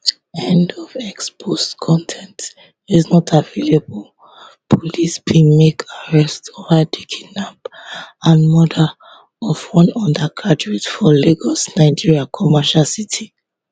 end of x post con ten t is not available police bin make arrest over di kidnap and murder of one undergraduate for lagos nigeria commercial city